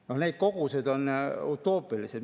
No need kogused on utoopilised.